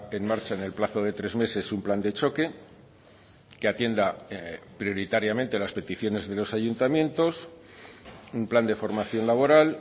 en marcha en el plazo de tres meses un plan de choque que atienda prioritariamente las peticiones de los ayuntamientos un plan de formación laboral